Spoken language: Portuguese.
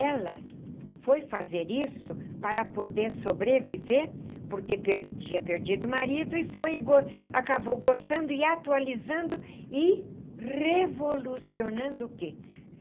Ela foi fazer isso para poder sobreviver porque per tinha perdido o marido e foi e acabou gostando e atualizando e revolucionando o que?